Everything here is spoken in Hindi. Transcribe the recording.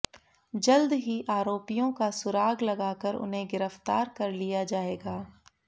जल्द ही आरोपियों का सुराग लगाकर उन्हें गिरफ्तार कर लिया जाएगा